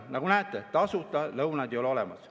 Nagu näete, tasuta lõunaid ei ole olemas.